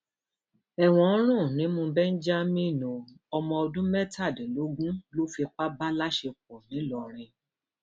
ẹwọn ń rùn nímú benjamin o ọmọ ọdún mẹtàdínlógún ló fipá bá láṣepọ ńlórìn